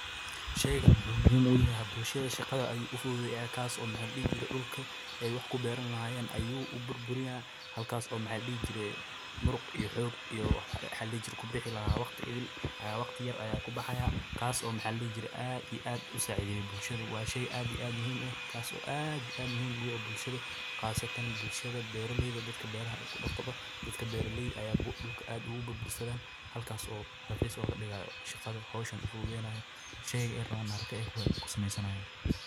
sheyga muxuu muhiim u yahay bulshada shaqada ayuu u fududay ee kaas oo maxa la dihi jiray dhulka ay wax ku beeran lahaayeen ayuu u burburinaa halkaas oo maxa la dihi jiray muruq iyo xoog iyo maxa la dihi jiray ku bixi lahaa waqti idil ayaa waqti yar ayaa ku baxaya kaas oo maxaa la dhihi jiray aada iyo aada u saacideeyay bulshada waashay aad iyo aad u saciideyaa bulshadu waa shay aadi aada muhiim taas oo aad iyo aad muhiim ogu ehe bulshada qaasatan bulshada beeraleyda dadka beeraha la isku noqdo dadka beeraleyda ayaa ku dhulka aada ugu burbursadaan halkaas oo raqiis looga dhigayo shaqada hawshan u ufududeynayo sheyga aay raban haraka kusameysanayan.